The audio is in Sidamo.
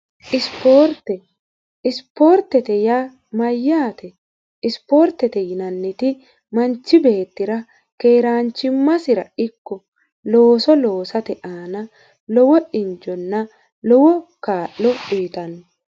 isipoortete ya mayyaate? isipoortete yinanniti manchi beettira keeraanchimmasira ikko looso loosate aana lowo injonna lowo kaa'lo uyixanno